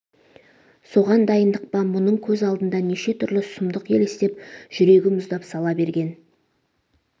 соған дайындық па мұның көз алдында неше түрлі сұмдық елестеп жүрегі мұздап сала берген